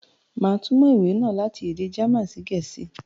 Màá túmọ̀ ìwé náà láti èdè German sí Gẹ̀ẹ̀sìí